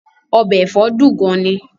Ọbẹ̀ ẹ̀fọ́ dùn gan-an ni